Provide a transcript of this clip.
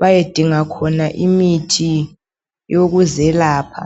bayedinga khona imithi yokuzelapha.